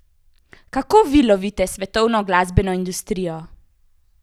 Kako vi lovite svetovno glasbeno industrijo?